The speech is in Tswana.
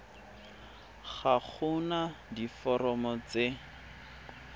ga go na diforomo tse